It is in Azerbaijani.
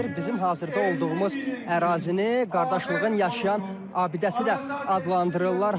Bizim hazırda olduğumuz ərazini qardaşlığın yaşayan abidəsi də adlandırırlar.